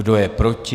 Kdo je proti?